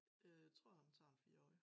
Øh tror han tager en 4 årig